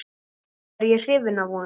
Er ég hrifinn af honum?